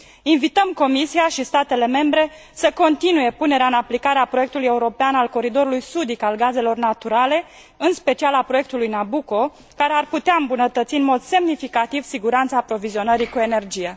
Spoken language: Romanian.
Invităm Comisia și statele membre să continue punerea în aplicare a proiectului european al coridorului sudic al gazelor naturale, în special al proiectului Nabucco, care ar putea îmbunătăți în mod semnificativ siguranța aprovizionării cu energie.